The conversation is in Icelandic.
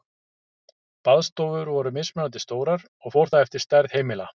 Baðstofur voru mismunandi stórar, og fór það eftir stærð heimila.